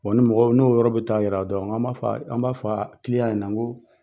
ni mɔgɔ n'o yɔrɔ bɛ taa yira dɔrɔn an b'a fɔ kiliyan ɲɛna ko